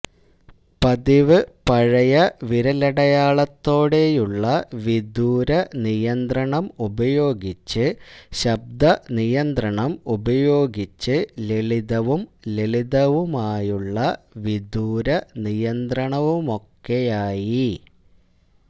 പതിവ് പഴയ വിരലടയാളത്തോടെയുള്ള വിദൂര നിയന്ത്രണം ഉപയോഗിച്ച് ശബ്ദ നിയന്ത്രണം ഉപയോഗിച്ച് ലളിതവും ലളിതവുമായുള്ള വിദൂര നിയന്ത്രണവുമൊക്കെയായി